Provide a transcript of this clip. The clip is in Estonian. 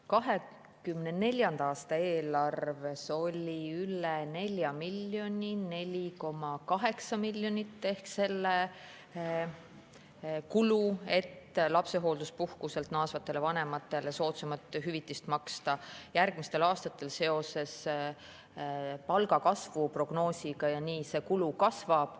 2024. aasta eelarves on üle 4 miljoni, täpsemalt 4,8 miljonit, selle kulu, et lapsehoolduspuhkuselt naasvatele vanematele makstakse soodsamat hüvitist, järgmistel aastatel seoses palgakasvu prognoosiga see kulu kasvab.